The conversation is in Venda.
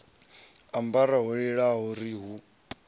ambara ho raliho ri hu